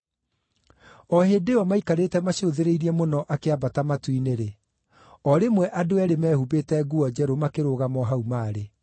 O hĩndĩ ĩyo maikarĩte macũthĩrĩirie mũno akĩambata matu-inĩ-rĩ, o rĩmwe andũ eerĩ mehumbĩte nguo njerũ makĩrũgama o hau maarĩ.